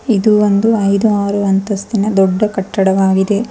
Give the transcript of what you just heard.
ಇದು ಒಂದು ಐದು ಆರು ಅಂಸಸ್ತಿನ ದೊಡ್ಡ ಕಟ್ಟಡವಾಗಿದೆ.